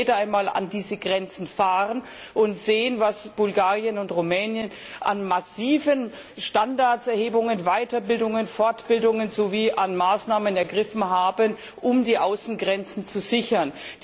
Es möge jeder einmal an diese Grenzen fahren und sehen, was Bulgarien und Rumänien an massiven Anhebung der Standards, Weiterbildungen und Fortbildungen durchgeführt sowie an Maßnahmen ergriffen haben, um die Außengrenzen zu sichern.